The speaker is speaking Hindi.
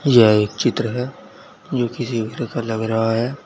यह एक चित्र है जो किसी घर का लग रहा है।